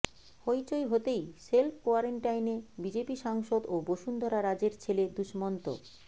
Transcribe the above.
হইচই হতেই সেল্ফ কোয়ারেন্টাইনে বিজেপি সাংসদ ও বসুন্ধরা রাজের ছেলে দুষ্মন্ত